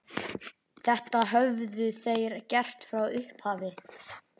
Þetta höfðu þeir gert frá upphafi